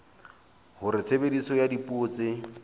hore tshebediso ya dipuo tse